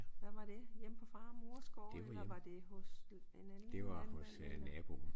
Hvad var det hjemme på far og mors gård eller var det hos en anden landmand eller